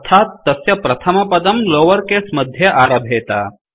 अर्थात् तस्य प्रथमपदं लोवर केस मध्ये आरभेत